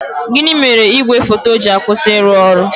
Gịnị mere igwe foto ji akwụsị ịrụ ọrụ?